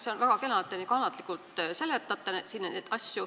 See on väga kena, et te nii kannatlikult siin neid asju seletate.